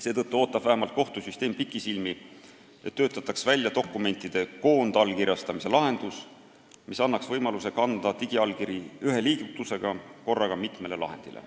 Seetõttu ootab vähemalt kohtusüsteem pikisilmi, et välja töötataks dokumentide koondallkirjastamise lahendus, mis annaks võimaluse kanda digiallkiri ühe liigutusega korraga mitmele lahendile.